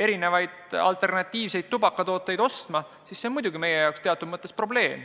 erinevaid alternatiivseid tubakatooteid ostma, siis on see meie jaoks muidugi teatud mõttes probleem.